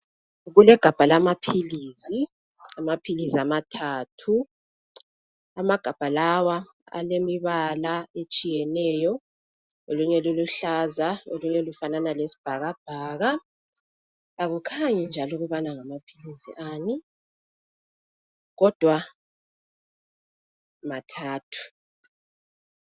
Kulegabha lamaphilizi, amaphilizi amathathu. Amagabha lawa alemibala etshiyeneyo, elinye liluhlaza elinye lifanana lesibhakabhaka. Akukhanyi njalo ukubana ngamaphilisi ani kodwa mathathu.